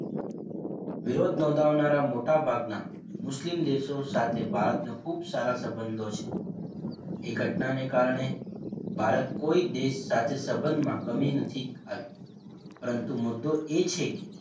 વિરોધ નોધાવનારા મોટા ભાગનાં મુસ્લિમ દેશો સાથે ભારત ને ખુબ સારા સબંધો છે એ ઘટના ને કારણે ભારત કોઈ દેશ સાથે સબંધમાં કમી નથી આવી પરંતુ મુદ્દો એ છે કે,